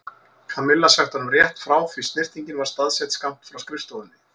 Kamilla sagt honum rétt frá því snyrtingin var staðsett skammt frá skrifstofunni.